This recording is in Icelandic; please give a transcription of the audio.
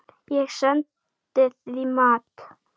Ég sendi því mat.